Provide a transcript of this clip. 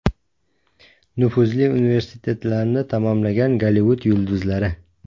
Nufuzli universitetlarni tamomlagan Gollivud yulduzlari.